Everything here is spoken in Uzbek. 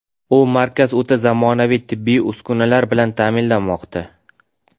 U markaz o‘ta zamonaviy tibbiy uskunalar bilan ta’minlanmoqda.